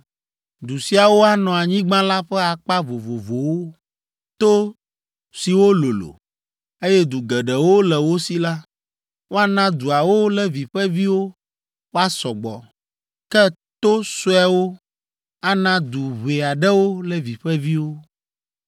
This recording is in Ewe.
Du siawo anɔ anyigba la ƒe akpa vovovowo. To siwo lolo, eye du geɖewo le wo si la, woana duawo Levi ƒe viwo wòasɔ gbɔ, ke to suewo ana du ʋɛ aɖewo Levi ƒe viwo.”